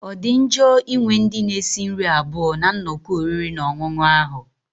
Ọ dị njọ ịnwe ndị na-esi nri abụọ na nnọkọ oriri na ọṅụṅụ ahu?